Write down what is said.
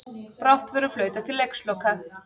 Brátt verður flautað til leiksloka